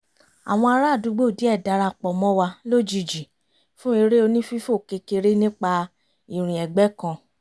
àwọn ará àdúgbò díẹ̀ dára pọ̀ mọ́ wa lójijì fún eré onífífò kékeré nípa ìrìn ẹ̀gbẹ́ kan